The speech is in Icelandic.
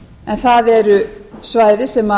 en það eru svæði sem